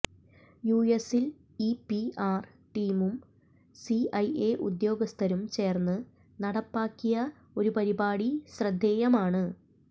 യുഎസ്സിൽ ഈ പിആർ ടീമും സിഐഎ ഉദ്യോഗസ്ഥരും ചേർന്ന് നടപ്പാക്കിയ ഒരു പരിപാടി ശ്രദ്ധേയമാണ്